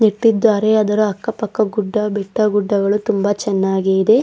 ಇಟ್ಟಿದ್ದಾರೆ ಅದರ ಅಕ್ಕ ಪಕ್ಕ ಗುಡ್ಡ ಬೆಟ್ಟ ಗುಡ್ಡಗಳು ತಿಂಬ ಚೆನ್ನಾಗಿ ಇವೆ.